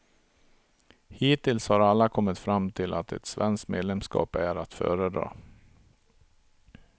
Hittills har alla kommit fram till att ett svenskt medlemskap är att föredra.